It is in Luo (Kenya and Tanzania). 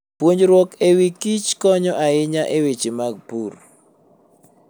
Puonjruok e wi kich konyo ahinya e weche mag pur.